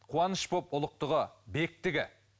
қуаныш болып ұлықтығы бектігі